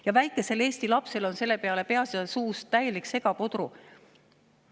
Ja väikesel eesti lapsel on selle peale peas ja suus täielik segapudru.